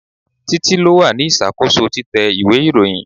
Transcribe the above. Títí lo wà ní ìṣàkóso títẹ ìwé ìròyìn.